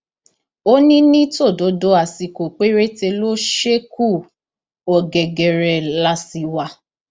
ó ní ní tòdodo àsìkò péréte ló ṣekú ọgẹgẹrẹ la sì wá